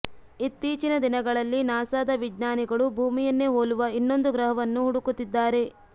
ಇತ್ತೀಚಿನ ದಿನಗಳಲ್ಲಿ ನಾಸಾದ ವಿಜ್ಞಾನಿಗಳು ಭೂಮಿಯನ್ನೇ ಹೋಲುವ ಇನ್ನೊಂದು ಗ್ರಹವನ್ನು ಹುಡುಕುತ್ತಿದ್ದಾರೆ